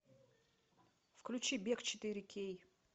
включи бег четыре кей